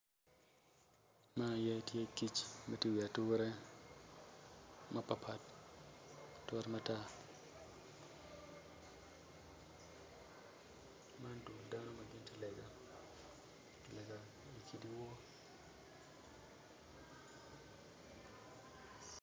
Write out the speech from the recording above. Eni kono tye latin awobi, awobi eni kono tye ma oruko long ma bule en kono tye ma oruko gin blue i cinge en kono tye ka dongo taya. Taya eni kono tye ma kitweyo malo, awobi eni kono tye ka pwonye.